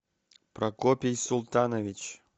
прокопий султанович